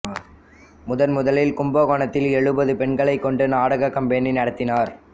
முதன் முதலில் கும்பகோணத்தில் எழுபது பெண்களைக் கொண்டு நாடகக் கம்பெனி நடத்தினார்